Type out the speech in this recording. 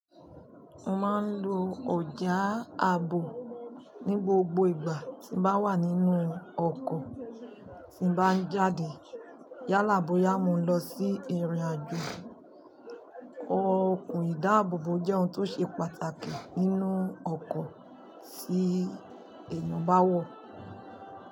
Mo máa ń lo ọjà ààbò ní gbogbo ìgbà tí màá wà nínú ọkọ̀ tí n bá n jáde yálà bóyá mò n lọ sí ìrìnàjò. Okùn ìdáàbòbò jẹ́ ohun tó ṣe pàtàkì nínú ọkọ̀ tí èèyàn bá wọ̀.